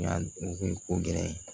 Yan ko gɛlɛya ye